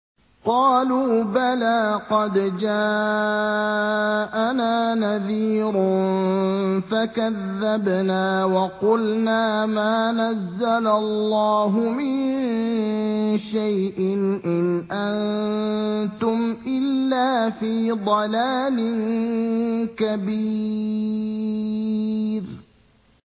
قَالُوا بَلَىٰ قَدْ جَاءَنَا نَذِيرٌ فَكَذَّبْنَا وَقُلْنَا مَا نَزَّلَ اللَّهُ مِن شَيْءٍ إِنْ أَنتُمْ إِلَّا فِي ضَلَالٍ كَبِيرٍ